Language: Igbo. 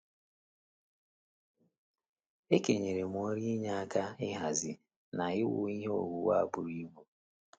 E kenyere m ọrụ inye aka ịhazi na iwu ihe owuwu a buru ibu.